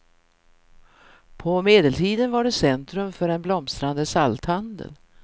På medeltiden var det centrum för en blomstrande salthandel.